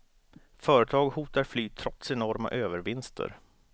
Företag hotar fly trots enorma övervinster.